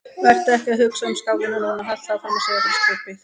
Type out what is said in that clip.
Vertu ekki að hugsa um skákina núna, haltu áfram að segja frá skipaði